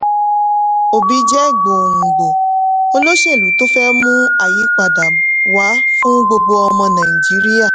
obi jẹ́ gbòǹgbò olóṣèlú tó fẹ́ mú àyípadà wá fún gbogbo ọmọ nàìjíríà.